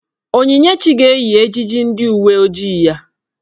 Onyinyechi ga-eyi ejiji ndị uwe ojii ya.